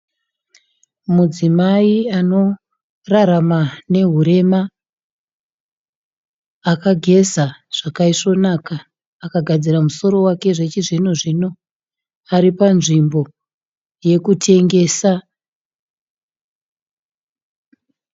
Mudzimai anorarama nehurema, akageza zvakaisvonaka, akagadzira musoro wake zvechi zvino zvino. Ari panzvimbo yekutengesa.